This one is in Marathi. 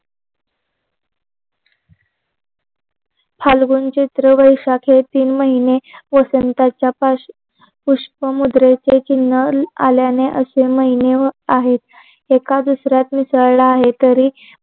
फाल्गुन चैत्र वैशाख हे तीन महिने वसंताच्या पार्श्व् पुष्पमुद्रेचे चिन्ह आल्याने असे महिने आहेत एका दुसऱ्यात मिसळला आहे तरी